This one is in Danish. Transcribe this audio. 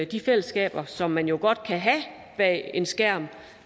de fællesskaber som man godt kan have bag en skærm